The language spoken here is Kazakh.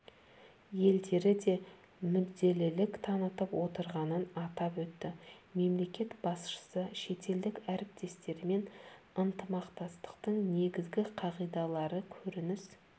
елдері де мүдделілік танытып отырғанын атап өтті мемлекет басшысы шетелдік әріптестермен ынтымақтастықтың негізгі қағидалары көрініс